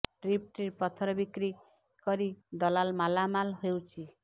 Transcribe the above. trip trip ପଥର ବିକ୍ରୀ କରି ଦଲାଲ ମାଲାମାଲ ହେଉଛି